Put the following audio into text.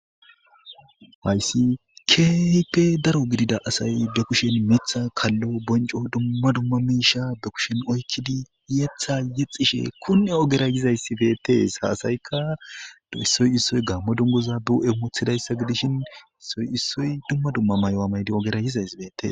Haysi kehipe daro gidida asay be kushen mitha kalo bonco dumma dumma misha be kushen oykidi yetha yexishe kune ogera yizays betes ha asayka issoy issoy gamo duguza be huphen wothidaysa gidishin issoy issoy dumma dumma mayo mayidaysa betes